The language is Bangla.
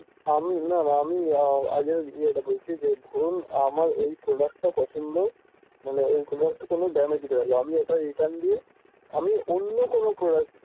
আমি আমি আগে ইয়েটা বলছি যে ধরুন আমার এই product টা পছন্দ মানে এইগুলা তো কোনো damage দেয়না আমি ওটা return দিয়ে আমি অন্য কোনো, product